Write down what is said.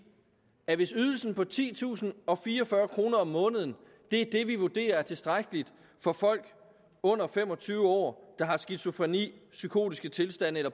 at hvis ydelsen på titusinde og fireogfyrre kroner om måneden er det vi vurderer er tilstrækkeligt for folk under fem og tyve år der har skizofreni psykotiske tilstande